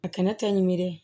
A kɛnɛ ta ɲimeri